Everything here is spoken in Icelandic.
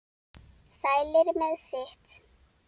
Sælir með sitt.